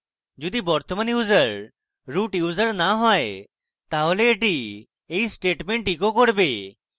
যদি বর্তমান user root user না হয় তাহলে এটি এই statement echo করবে